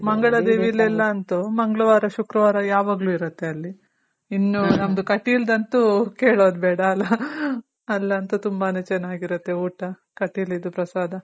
ಮಂಗಳ ದೇವೀಲಿ ಎಲ್ಲ ಅಂತು ಮಂಗಳವಾರ, ಶುಕ್ರವಾರ ಯಾವಾಗ್ಲು ಇರುತ್ತೆ ಅಲ್ಲಿ.ಇನ್ನು ನಮ್ದು ಕಟೀಲ್ ದಂತು ಕೇಳೋದ್ ಬೇಡ ಅಲ ಅಲ್ಲಂತು ತುಂಬಾನೇ ಚೆನಾಗಿರುತ್ತೆ ಊಟ. ಕಟೀಲ್ ಇದು ಪ್ರಸಾದ.